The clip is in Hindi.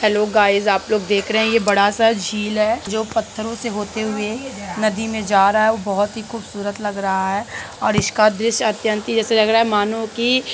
हेल्लो गाइस आप लोग देख रहे हैं ये बड़ा सा झील है जो पत्थरो से होते हुए है नदी में जा रहा है वो बहुत खूबसूरत लग रहा है और इसका दृश्य अत्यंत ही ऐसा लग रहा है मनो की --